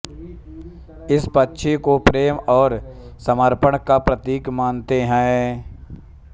इस पक्षी को प्रेम और समर्पण का प्रतीक मानते हैं